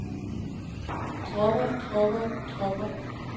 dropper dropper dropper